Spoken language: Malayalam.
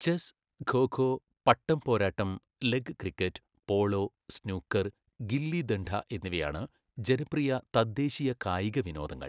ചെസ്സ്, ഖോ ഖോ, പട്ടംപോരാട്ടം, leg cricket, polo, snooker, gilli danda എന്നിവയാണ് ജനപ്രിയ തദ്ദേശീയ കായിക വിനോദങ്ങൾ.